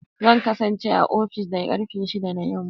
Zan kasance a ofis da karfe shida na yamma.